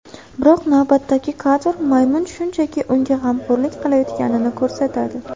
Biroq navbatdagi kadr maymun shunchaki unga g‘amxo‘rlik qilayotganini ko‘rsatadi.